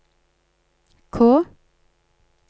K